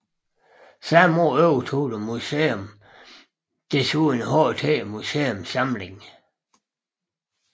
Samme år overtog museet desuden HT Museums samling